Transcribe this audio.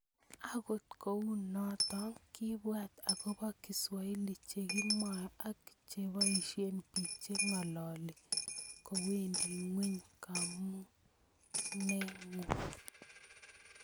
Agot kounoto ngibwat agobo kiswahili che kimwoe ak che boisie bik che ngololi kowendi ngweny komongunengung